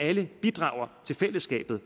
alle bidrager til fællesskabet